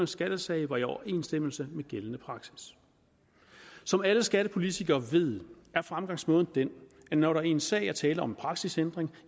skattesag var i overensstemmelse med gældende praksis som alle skattepolitikere ved er fremgangsmåden den at når der i en sag er tale om en praksisændring